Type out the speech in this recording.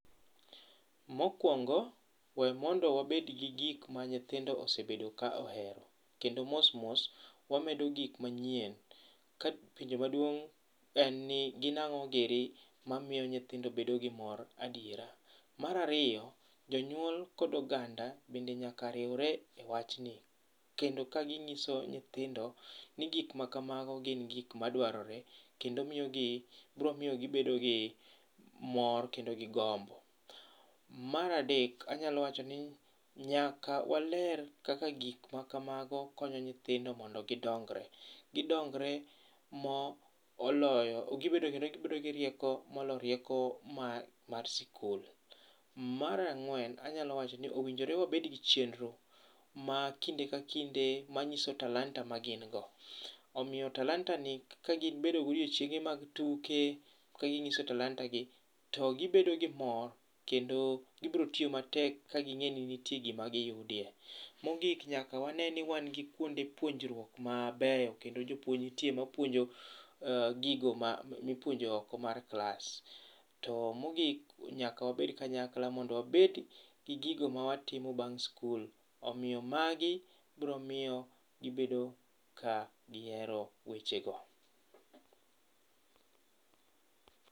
Mokuongo we mondo wabed gi gik ma nyithindo osebedo ka ohero, kendo mos mos wamedo gik manyien ka penjo maduong' en ni gin ang'o giri mamiyo nyithindo bedo gi mor adiera. Mar ariyo, jonyuol kod oganda bende nyaka riure ewachni kendo ka ging'iso nyithindo ni gik ma kamago gin gik maduarore kendo miyogi, bro miyogi gibedo gi mor kendo gi gombo. Mar adek anyalo wachoni nyaka waler kaka gik makamago konyo nyithindo mondo gidongre. Gidongre moloyo gi rieko moloyo rieko mar skul. Mar ang'uen anyalo wachoni owinjore wabedgi chenro ma kinde ka kinde manyiso talanta magingo. Omiyo talanta ni kagibedo gi odiochienge mag tuke kaging'iso talanta gi to gibedo gi mor kendo gibro tiyo matek kaging'eni nitie gima giyudie. Mogik nyaka wanee ni wan gi kuonde puonjruok mabeyo kendo jopuonj nitie mapuonjo gigo mipuonjo oko mar klas. To mogik, nyaka wabed kanyakla mondo wabed gi gigo ma watimo bang' skul. Omiyo magi bromiyo gibedo ka gihero wechego.